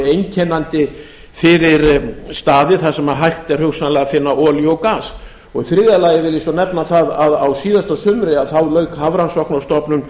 einkennandi fyrir staði þar sem hægt er hugsanlega að finna olíu eða gas í þriðja lagi vil ég svo nefna það að á síðasta sumri lauk hafrannsóknastofnun